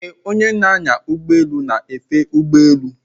Ee, onye na-anya ụgbọelu na-efe ụgbọ elu.